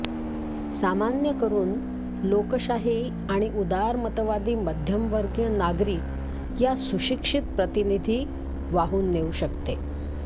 सामान्य करून लोकशाही आणि उदारमतवादी मध्यमवर्गीय नागरिक या सुशिक्षित प्रतिनिधी वाहून नेऊ शकते